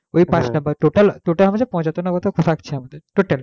ঐ পাঁচটা total total আমাদের পঁচাত্তর না থাকছে আমাদের total